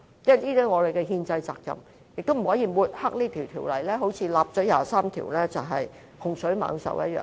這是我們的憲制責任，而且也不能抹黑這項法例，說到第二十三條立法是洪水猛獸一樣。